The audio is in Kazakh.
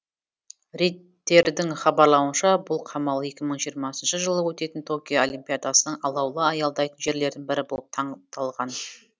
рейттердің хабарлауынша бұл қамал екі мың жиырмасыншы жылы өтетін токио олимпиадасының алаулы аялдайтын жерлердің бірі болып таңдалған